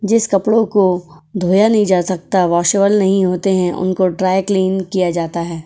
जिस कपड़ों को धोया नहीं जा सकता वॉशेबल नहीं होते हैं उनको ड्राई क्लीन किया जाता है।